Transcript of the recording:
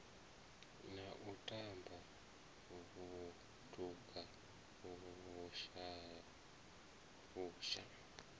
na u tamba vhutuka vhusha